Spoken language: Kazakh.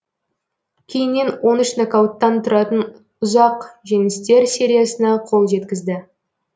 кейіннен он үш нокауттан тұратын ұзақ жеңістер сериясына қол жеткізді